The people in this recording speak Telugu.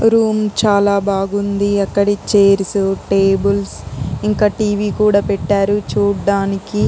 రూమ్ చాలా బాగుంది అక్కడి చేర్సు టేబుల్స్ ఇంకా టీ. వీ. కూడా పెట్టారు చూడ్డానికి ఎంతో --